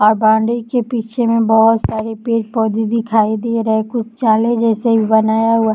अ boundary के पीछे में बहोत सारे पेर -पौधे दिखाई दे रहे। कुछ चाले जैसे ई बनाया हुआ --